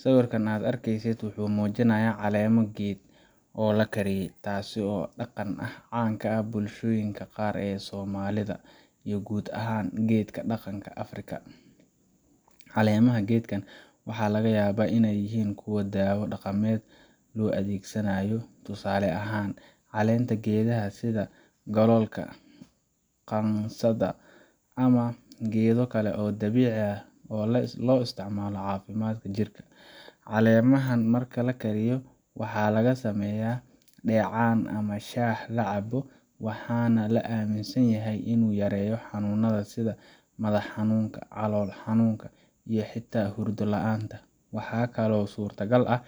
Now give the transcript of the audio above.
Sawirka aad arkaysid wuxuu muujinayaa caleemo geed oo la kariyey, taasoo ah dhaqan aad caan u ah bulshooyinka qaar ee Soomaalida iyo guud ahaan geedka dhaqanka Afrika. Caleemaha geedkan waxaa laga yaabaa inay yihiin kuwo daawo dhaqameed loo adeegsanayo, tusaale ahaan: caleenta geedaha sida Galoolka, Qansaxda, ama geedo kale oo dabiici ah oo loo isticmaalo caafimaadka jirka. Caleemahan marka la kariyo, waxaa laga sameeyaa dheecaan ama shaah la cabbo, waxaana la aaminsan yahay inuu yareeyo xanuunnada sida madax xanuunka, calool xanuunka, iyo xitaa hurdo la’aanta. Waxaa kaloo suuragal ah